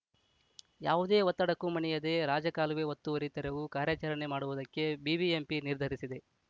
ಯಾವುದೇ ಒತ್ತಡಕ್ಕೂ ಮಣಿಯದೆ ರಾಜಕಾಲುವೆ ಒತ್ತುವರಿ ತೆರವು ಕಾರ್ಯಾಚರಣೆ ಮಾಡುವುದಕ್ಕೆ ಬಿಬಿಎಂಪಿ ನಿರ್ಧರಿಸಿದೆ